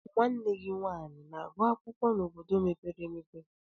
Nwanne gị nwaanyị ana-agụ akwụkwọ na obodo mepere emepe?